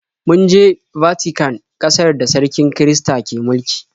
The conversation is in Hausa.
Mun je Vatican, ƙasar da sarkin kirista ke mulki.